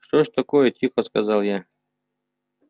что ж такое тихо сказал я